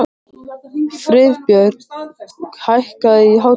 Friðbjörg, hækkaðu í hátalaranum.